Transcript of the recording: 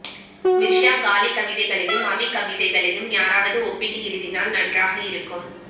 மிர்ஸா காலிப் கவிதைகளையும் அபி கவிதைகளையும் எவராவது ஒப்பிட்டு எழுதினால் நன்றாக இருக்கும்